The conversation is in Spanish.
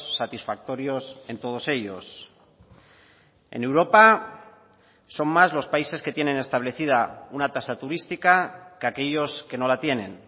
satisfactorios en todos ellos en europa son más los países que tienen establecida una tasa turística que aquellos que no la tienen